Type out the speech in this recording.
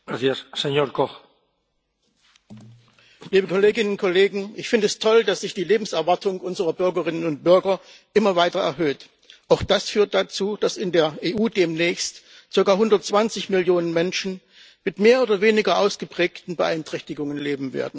Herr Präsident, liebe Kolleginnen und Kollegen! Ich finde es toll, dass sich die Lebenserwartung unserer Bürgerinnen und Bürger immer weiter erhöht. Auch das führt dazu, dass in der EU demnächst sogar 120 Millionen Menschen mit mehr oder weniger ausgeprägten Beeinträchtigungen leben werden.